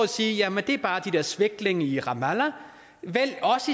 sige jamen det er bare de der svæklinge i ramallah vælg os